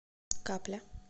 капля